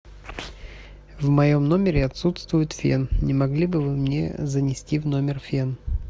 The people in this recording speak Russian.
в моем номере отсутствует фен не могли бы вы мне занести в номер фен